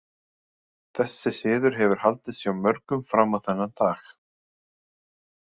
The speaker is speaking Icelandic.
Þessi siður hefur haldist hjá mörgum fram á þennan dag.